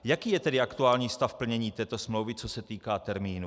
Jaký je tedy aktuální stav plnění této smlouvy, co se týká termínů?